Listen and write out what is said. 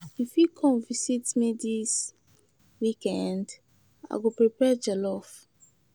You fit come visit me this weekend? I go prepare jollof.